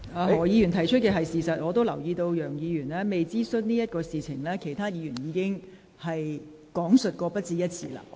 何議員提出的是事實，我也留意到楊議員提及的未有諮詢一事，其他議員已講述過不止一次。